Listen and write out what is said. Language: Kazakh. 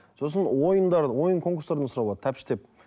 сосын ойындар ойын конкурстарды сұрап алады тәппіштеп